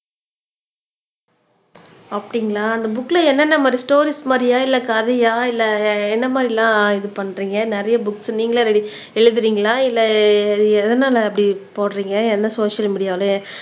அப்படிங்களா அந்த புக்ல என்னென்ன மாதிரி ஸ்டோரீஸ் மாதிரியா இல்லை கதையா இல்லை என்ன மாதிரி எல்லாம் இது பண்றீங்க நிறைய புக்ஸ் நீங்களே ரெடி எழுதறீங்களா இல்லை எ எதனால அப்படி போடறீங்க என்ன சோசியல் மீடியால